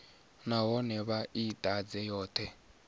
nahone vha i ḓadze yoṱhe